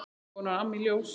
Svona var Amma í Ljós.